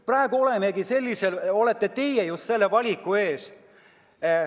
Praegu aga olete teie just selle valiku ees.